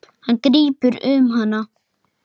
Hann grípur um hana.